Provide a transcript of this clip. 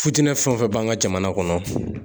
Futinɛ fɛn o fɛn b'an ka jamana kɔnɔ